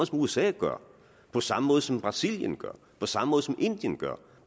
som usa gør på samme måde som brasilien gør på samme måde som indien gør